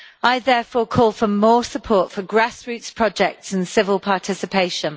I therefore call for more support for grassroots projects and civil participation.